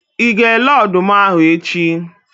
Ị ga-elele ọdụm ahu echi?